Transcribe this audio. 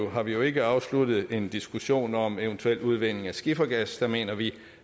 har vi jo ikke afsluttet en diskussion om eventuel udvinding af skifergas der mener vi